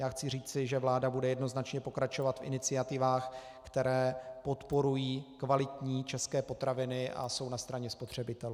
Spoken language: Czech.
Já chci říci, že vláda bude jednoznačně pokračovat v iniciativách, které podporují kvalitní české potraviny a jsou na straně spotřebitelů.